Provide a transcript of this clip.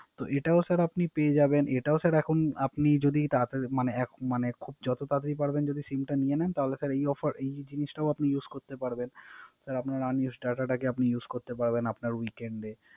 তো ওটাও আপনি পেয়ে যাবেন। ওটা যদি আপনি তারা মানে মানে যত তারাতারি পরবেন SIM নিয়ে নেন। তাহলে এই Offer এই জিনিসটাও আপনি Use করতে পারবেন। আপনি Unused data টাকে Use করতে পারবেন। আপনার weakened এ